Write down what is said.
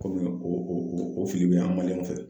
o fili be an fɛ.